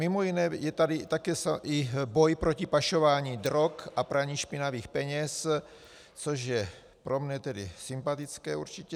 Mimo jiné je tady také i boj proti pašování drog a praní špinavých peněz, což je pro mne tedy sympatické, určitě.